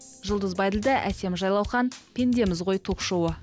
жұлдыз байділдә әсем жайлаухан пендеміз ғой ток шоуы